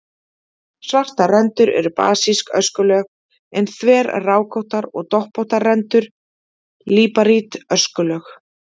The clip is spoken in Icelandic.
Svartar rendur eru basísk öskulög en þverrákóttar og doppóttar rendur líparít öskulög.